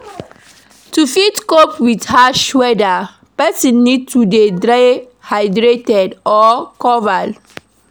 To fit cope with harsh weather, person need to dey hydrated or covered